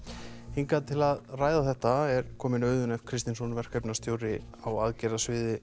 hingað til að ræða þetta er kominn Auðunn f Kristinsson verkefnisstjóri á